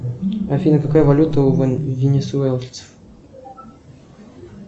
афина какая валюта у венесуэльцев